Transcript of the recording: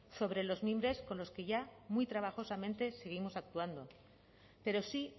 sobre los mimbres con los que ya muy trabajosamente seguimos actuando pero sí